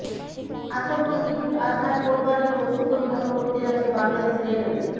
আসন্ন ঈদুল আজহার কোরবানির পশু পরিবহন করতে যাচ্ছে বাংলাদেশ রেলওয়ে